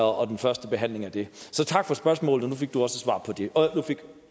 og den første behandling af den så tak for spørgsmålet og nu fik